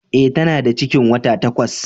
E, ta na da cikin wata takwas.